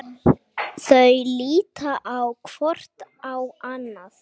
Þau líta hvort á annað.